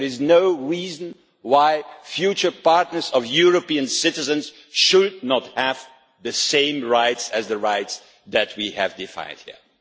There is no reason why future partners of European citizens should not have the same rights as the rights that we have defined here.